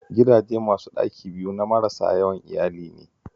Gidaje masu ɗaki biyu na marasa yawan iyali ne